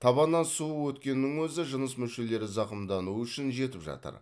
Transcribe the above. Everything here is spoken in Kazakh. табаннан суық өткеннің өзі жыныс мүшелері зақымдануы үшін жетіп жатыр